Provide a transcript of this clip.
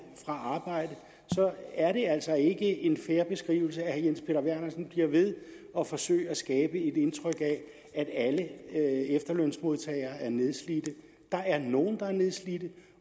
fra arbejde så er det altså ikke en fair beskrivelse at herre jens peter vernersen bliver ved at forsøge at skabe et indtryk af at alle efterlønsmodtagere er nedslidte der er nogle der er nedslidte